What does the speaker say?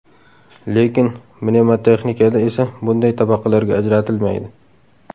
Lekin mnemotexnikada esa bunday tabaqalarga ajratilmaydi.